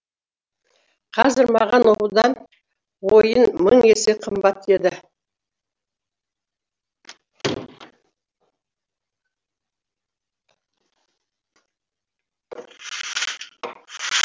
қазір маған оқудан ойын мың есе қымбат еді